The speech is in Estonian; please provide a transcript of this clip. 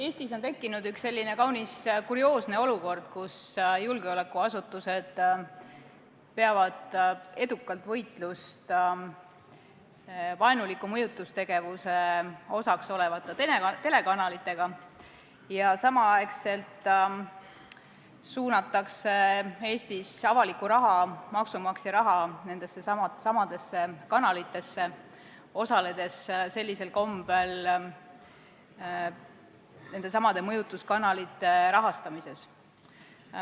Eestis on tekkinud selline kaunis kurioosne olukord, kus julgeolekuasutused peavad edukalt võitlust vaenuliku mõjutustegevuse osaks olevate telekanalitega ja samal ajal suunatakse avalikku raha, maksumaksja raha nendessesamadesse kanalitesse, osaledes sellisel kombel nendesamade mõjutuskanalite rahastamises.